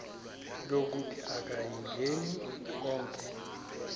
lokuthi akayingeni konke